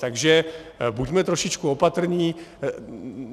Takže buďme trošičku opatrní.